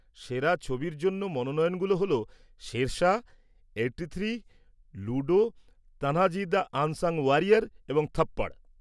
সেরা ছবির জন্য মনোনয়নগুলো হল Shershaah, eighty three, Ludo, Tanhaji the unsung warrior, এবং থপ্পড়।